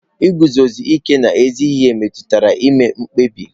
Iguzosi ike n'ezi ihe metụtara ime mkpebi.